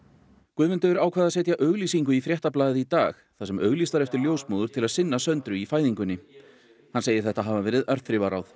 Guðmundur ákvað að setja auglýsingu í Fréttablaðið í dag þar sem auglýst var eftir ljósmóður til að sinna Söndru í fæðingunni hann segir þetta hafa verið örþrifaráð